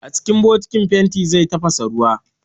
A cikin bokitin fenti zai tafasa ruwa